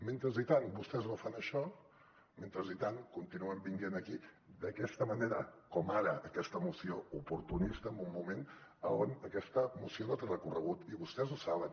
mentrestant vostès no fan això mentrestant continuen venint aquí d’aquesta manera com ara aquesta moció oportunista en un moment on aquesta moció no té recorregut i vostès ho saben